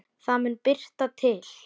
Það mun birta til.